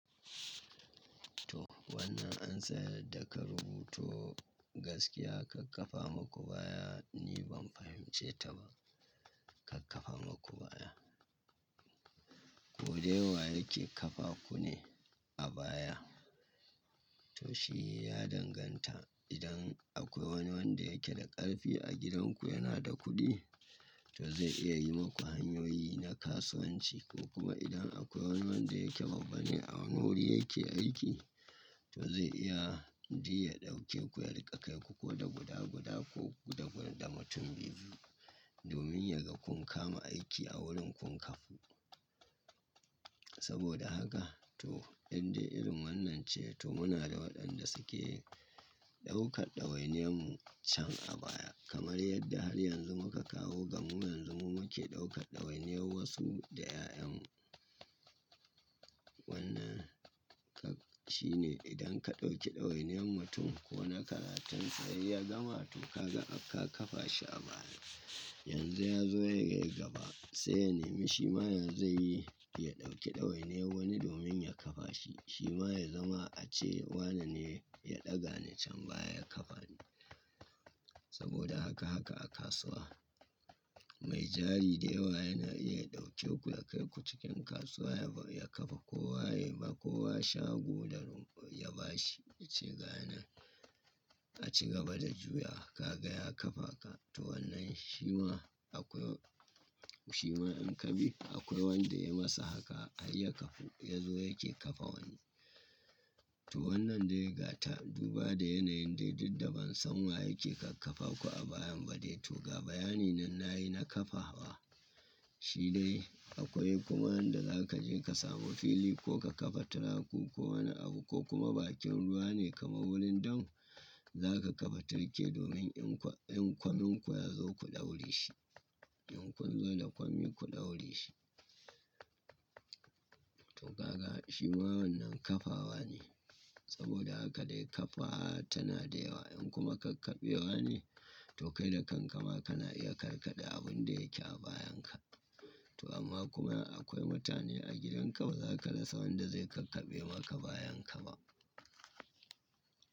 To wannan an tsayar da ka rubuto gaskiya kakkafa maku baya ni ban fahimce ta ba. Kakkafa maku baya. Ko dai wa yake kafa ku ne a baya? To shi ya danganta. Idan akwai wani wanda yake da ƙarfi a gidanku yana da kuɗi, to zai iya yi maku hanyoyi na kasuwanci ko kuma idan akwai wani wanda yake babba ne a wani wuri yake aiki, to zai iya ji ya ɗauke ku ya riƙa kai ku ko da guda guda ko guda guda da mutum biyu domin yaga kun kama aiki a wurin kun kafu. Saboda haka to yadda irin wannan ce to muna da waɗanda suke ɗaukar ɗawainiyan mu can a baya kamar yadda har yanzu muka kawo ga mu yanzu mu muke ɗaukar ɗawainiyar wasu da 'ya'yan mu. Wannan ka shine idan ka ɗauki ɗawainiyan mutum ko na karatunsa ya gama to ka ga ka kafa shi a baya. Yanzu ya zo ya kai gaba sai ya nemi shi ma ya zai yi ya ɗauki ɗawainiyan wani domin ya kafa shi. Shi ma ya zama a ce wane ne ya ɗaga ni can baya ya kafa ni. Saboda haka haka a kasuwa. Mai jari dayawa yana iya ɗauke ku ya kai ku cikin kasuwa ya kafa kowa yaba kowa shago da rumfa ya bashi ci ga nan a ci gaba da juya wa ka ga ya kafa ka. To wannan shi ma akwai shi ma in ka bi akwai wanda ya masa haka har ya kafu ya zo yake kafa wani. To wannan dai gata duba da yanayin dai duk da ban san wa yake kakkafa ku a bayan ba dai to ga bayani nan nayi na kafa wa. Shi dai akwai kuma wanda za ka je ka samo fili ko ka kafa tiraku ko wani abu ko kuma bakin ruwa ne kamar wurin dam za ka kafa tirke domin in kwa in kwamin kwa ya zo ku ɗaure shi. In kun zo da kwammi ku ɗaure shi. To ka ga shi ma wannan kafawa ne. Saboda haka dai kafa wa tana da yawa in kuma kakkabewa ne to kai da kankama kana iya karkade abun da yake a bayan ka. To amma kuma akwai mutane a gidanka ba za ka rasa wanda zai kakkabe maka bayan ka ba.